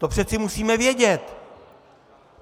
To přece musíme vědět.